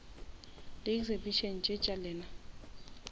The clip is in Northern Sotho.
di exhibition tše tša lena